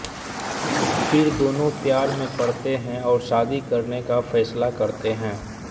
फिर दोनों प्यार में पड़ते हैं और शादी करने का फैसला करते हैं